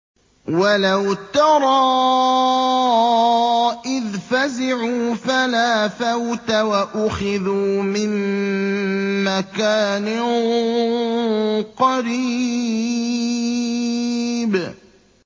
وَلَوْ تَرَىٰ إِذْ فَزِعُوا فَلَا فَوْتَ وَأُخِذُوا مِن مَّكَانٍ قَرِيبٍ